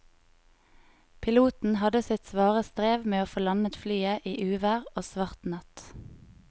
Piloten hadde sitt svare strev med å få landet flyet i uvær og svart natt.